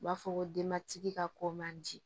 U b'a fɔ ko denbatigi ka ko man di